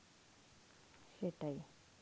সেটাই.